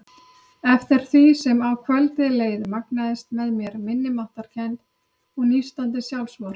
Eftir því sem á kvöldið leið magnaðist með mér minnimáttarkennd og nístandi sjálfsvorkunn.